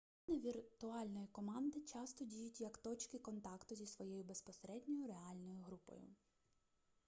члени віртуальної команди часто діють як точки контакту зі своєю безпосередньою реальною групою